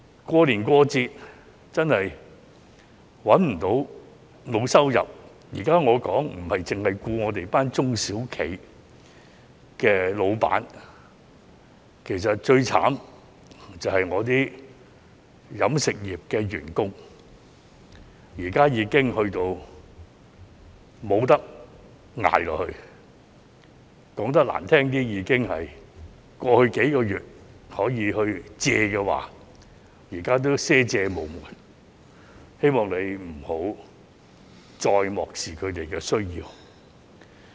過年過節，找不到工作、沒有收入——我現在說的，不獨是我們的中小企僱主，其實最可憐的，是飲食業員工，他們現在已無法支撐下去，說得難聽點，在過去數月，可以借的都借了，現在已賒借無門，希望局長不要再漠視他們的需要。